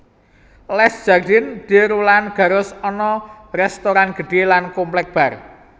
Les Jardins de Roland Garros ana restoran gedhe lan komplek bar